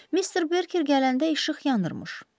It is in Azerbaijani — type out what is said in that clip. Mister Berker gələndə işıq yandırmış.